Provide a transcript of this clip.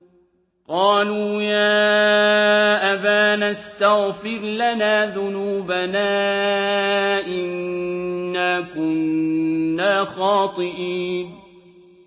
قَالُوا يَا أَبَانَا اسْتَغْفِرْ لَنَا ذُنُوبَنَا إِنَّا كُنَّا خَاطِئِينَ